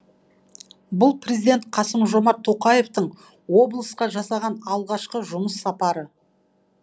бұл президент қасым жомарт тоқаевтың облысқа жасаған алғашқы жұмыс сапары